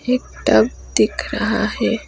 एक टब दिख रहा है।